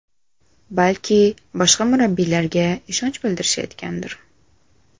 Balki boshqa murabbiylarga ishonch bildirishayotgandir.